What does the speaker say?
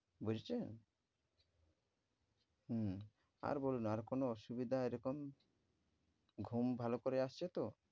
বুঝেছেন? হম আর বলুন আর কোন অসুবিধা এরকম? ঘুম ভালো করে আসছে তো?